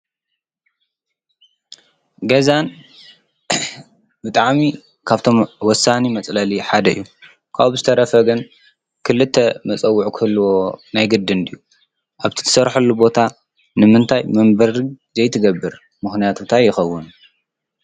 ገዛ ብጣዕሚ ካብቶም ወሳኒ መፅለሊ ሓደ እዩ፡፡ ካብኡ ብዝተረፈ ግን ክልተ መፀውዒ ክህልዎ ናይ ግድን ድዩ? ኣብ ትሰርሓሉ ቦታ ንምንታም መንበሪ ዘይትገብር? ምኽንያቱ እንታይ ይኸውን?